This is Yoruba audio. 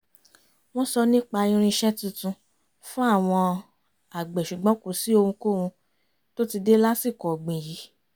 wọ́n sọ nípa irinṣẹ́ tuntun fún àwọn agbe ṣùgbọ́n kò sí ohunkóhun tó ti dé lásìkò ọ̀gbìn yìí